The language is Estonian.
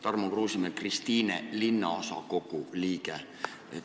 Tarmo Kruusimäe, Kristiine linnaosakogu liige.